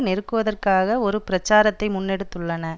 நெருக்குவதற்காக ஒரு பிரச்சாரத்தை முன்னெடுத்துள்ளன